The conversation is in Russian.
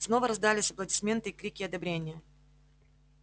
снова раздались аплодисменты и крики одобрения